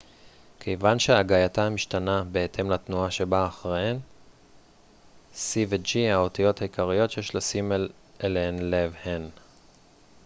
האותיות העיקריות שיש לשים אליהן לב הן c ו-g כיוון שהגייתן משתנה בהתאם לתנועה שבאה אחריהן